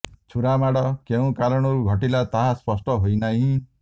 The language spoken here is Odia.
ଛୁରାମାଡ଼ କେଉଁ କାରଣରୁ ଘଟିଲା ତାହା ସ୍ପଷ୍ଟ ହୋଇ ନାହିଁ